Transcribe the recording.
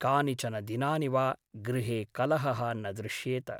कानिचन दिनानि वा गृहे कलहः न दृश्येत ।